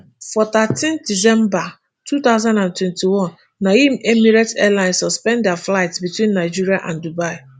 for thirteen december two thousand and twenty-one na im emirates airline suspend dia flights between nigeria and dubai